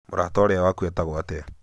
mũrata ũrĩa waku etagwo atĩa